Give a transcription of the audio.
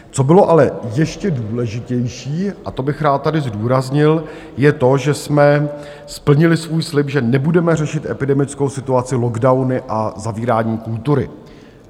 Co bylo ale ještě důležitější, a to bych rád tady zdůraznil, je to, že jsme splnili svůj slib, že nebudeme řešit epidemickou situaci lockdowny a zavíráním kultury.